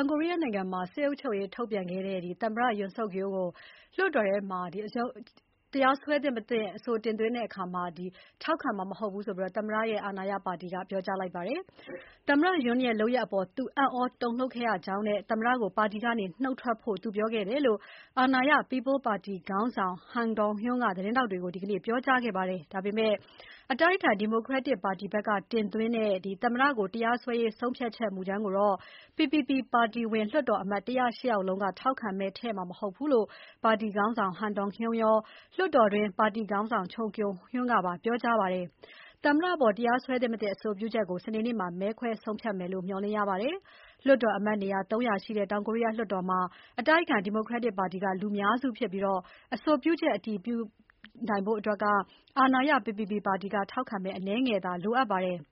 င်ကိုရီးယားနိုင်ငံမှာ စစ်အုပ်ချုပ်ရေးထုတ်ပြန်ခဲ့တဲ့ သမ္မတ Yoon Suk Yeol ကို တရားစွဲသင့် မသင့် လွှတ်တော်မှာအတိုက်အခံပါတီတင်သွင်းတဲ့အဆိုကို ထောက်ခံမှာမဟုတ်ဘူးလို့ အာဏာရပါတီ ခေါင်းဆောင်က ပြောလိုက်ပါတယ်။ သမ္မတ Yoon ရဲ့ လုပ်ရပ်အပေါ် သူအံ့ဩတုန်လှုပ်ခဲ့ရကြောင်းနဲ့ သမ္မတကို ပါတီကနုတ်ထွက်ဖို့ သူပြောခဲ့တယ်လို့အာဏာရ People Power ပါတီခေါင်းဆောင် Han Dong-hun က သတင်းထောက်တွေကို ဒီနေ့ ပြောကြားခဲ့ပါတယ်။ဒါပေမဲ့ အတိုက်အခံ Democratic ပါတီဘက်က သမ္မကိုတရားစွဲရေး ဆုံးဖြတ်ချက်မူကြမ်းကိုတော့ PPP ပါတီဝင်လွှတ်တော်အမတ် ၁၀၈ ယောက် လုံးက ထောက်ခံမဲထည့်မှာမဟုတ်ဘူးလို့ ပါတီခေါင်းဆောင် Han Dong-hun ရော၊လွှတ်တော်တွင်း ပါတီခေါင်းဆောင် Choo Kyung-ho ကပါ ပြောကြားခဲ့ကြပါတယ်။ သမ္မတအပေါ် တရားစွဲသင့် မသင့် အဆိုပြုချက်ကို စနေနေ့မှာ မဲခွဲဆုံးဖြတ်မယ်လို့ မျှော်လင့်ရပါတယ်။ လွှတ်တော်အမတ်နေရာ ၃၀၀ ရှိတဲ့ တောင်ကိုရီးယားလွှတ်တော်မှာ အတိုက်အခံ Democratic ပါတီက လူများစုဖြစ်ပြီး အဆိုပြုချက်အတည်ဖြစ်ဖို့ အာဏာရ PPP ပါတီက ထောက်ခံမဲ အနည်းငယ်သာ လိုအပ်ပါတယ်။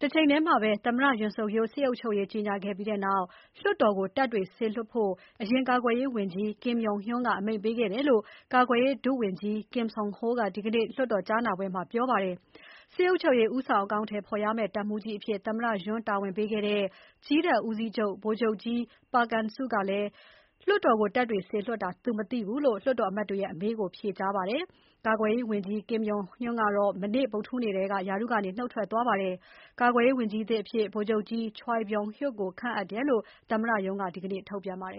တချိန်တည်းမှာပဲ သမ္မတYoon Suk Yeol စစ်အုပ်ချုပ်ရေးကြေညာခဲ့ပြီးနောက် လွှတ်တော်ကို တပ်တွေစေလွှတ်ဖို့ အရင်ကာကွယ်ရေးဝန်ကြီး Kim Yong Hyun က အမိန့်ပေးခဲ့တယ်လို့ ကာကွယ်ရေး ဒုဝန်ကြီး Kim Seon Ho က ဒီနေ့ လွှတ်တော်ကြားနာပွဲမှာ ပြောကြားပါတယ်။ စစ်အုပ်ရေး ဦးဆောင်အကောင်အထည်ဖော်ရမယ့် တပ်မှူးကြီးအဖြစ် သမ္မတ Yoon က တာဝန်ပေးခဲ့တဲ့ ကြည်းတပ်ဦးစီးချုပ် ဗိုလ်ချုပ်ကြီး Park An-su ကလည်း လွှတ်တော်ကို တပ်တွေစေလွှတ်တာ သူမသိဘူးလို့ လွှတ်တော်အမတ်တွေရဲ့အမေးကို ဖြေကြားခဲ့ပါတယ်။ ကွယ်ရေးဝန်ကြီး Kim Yong Hyun ကတော့ မနေ့ ဗုဒ္ဓဟူးနေ့က ရာထူးကနေ နုတ်ထွက်သွားပါတယ်။ ကာကွယ်ရေးဝန်ကြီးသစ်အဖြစ် ဗိုလ်ချုပ်ကြီး Choi Byung Hyuk ကိုခန့်အပ်တယ်လို့ သမ္မတရုံးက ဒီနေ့ ထုတ်ပြန်ပါတယ်